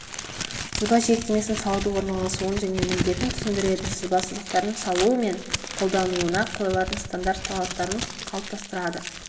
сызба жиектемесін салуды орналасуын және міндетін түсіндіреді сызба сызықтарын салу мен қолдануына қойылатын стандарт талаптарын қалыптастырады